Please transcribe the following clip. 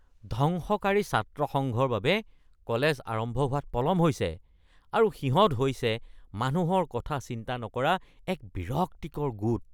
ধ্বংসকাৰী ছাত্ৰ সংঘৰ বাবে কলেজ আৰম্ভ হোৱাত পলম হৈছে আৰু সিহঁত হৈছে মানুহৰ কথা চিন্তা নকৰা এক বিৰক্তিকৰ গোট।